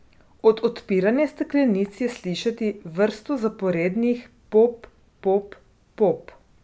Od odpiranja steklenic je slišati vrsto zaporednih pop, pop, pop.